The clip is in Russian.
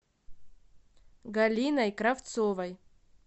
галиной кравцовой